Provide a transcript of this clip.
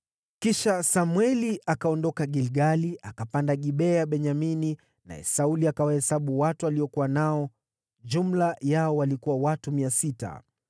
Kisha Samweli akaondoka Gilgali, akapanda Gibea ya Benyamini, naye Sauli akawahesabu watu aliokuwa nao. Jumla yao walikuwa watu 600.